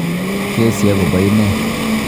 Kesii agobo inee.